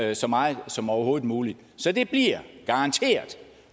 det så meget som overhovedet muligt så det bliver garanteret